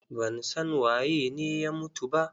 Ban san waye ne ya mutu ba.